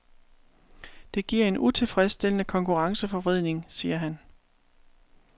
Det giver en utilfredsstillende konkurrenceforvridning, siger han.